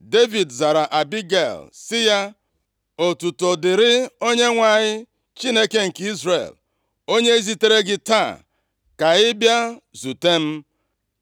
Devid zara Abigel sị ya, “Otuto dịrị Onyenwe anyị, Chineke nke Izrel onye zitere gị taa ka ị bịa zute m.